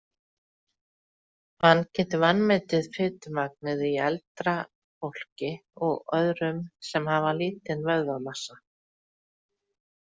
Hann getur vanmetið fitumagnið í eldra fólki og öðrum sem hafa lítinn vöðvamassa.